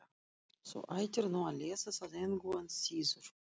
Þú ættir nú að lesa það engu að síður.